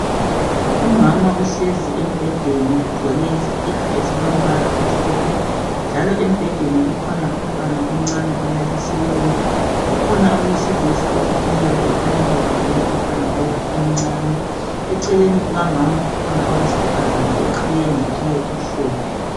Umama uhlezi embhedeni ugqoke iskhipha esilombala omhlophe, njalo embhedeni kukhona umntwana umncane olalisiweyo. Kukhona owesilisa omileyo ekhanya ebambe umntwana lo emncane. Eceleni kukamama ukhona owesifazane oqiye ngeqiye emhlophe.